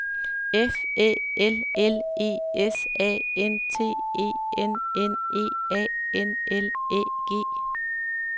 F Æ L L E S A N T E N N E A N L Æ G